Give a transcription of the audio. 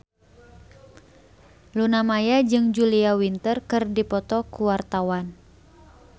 Luna Maya jeung Julia Winter keur dipoto ku wartawan